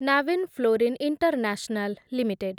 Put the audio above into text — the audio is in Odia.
Navin Fluorine International limited